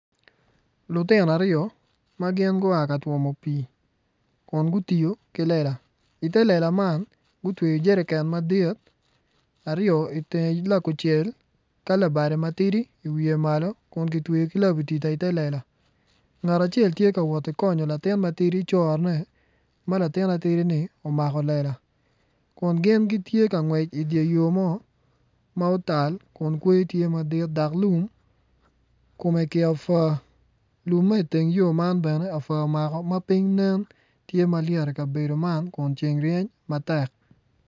Lutino aryo ma gin gua ka twomo pii kun gutingo ki lela ite lela man gutweyo jeriken aryo madit aryo itenge lakucel ka labade matidi iwiye malo kun kitweyo ki labatida ite lela ngat acel tye ka woti konyo latin matidi corone ma latin matidini omako lela kun gin gitye ka ngwec idye yo mo ma otal kun kweyo tye madit dok lum kome kiapua lum ma iteng yo man bene apua omako ma piny nen tye malyet i kabedo man kun ceng ryeny matek.